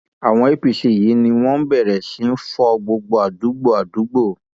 àwọn apc yìí ni wọn bẹrẹ sí í fọ gbogbo àdúgbò àdúgbò